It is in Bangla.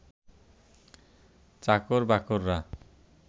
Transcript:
চাকর-বাকররা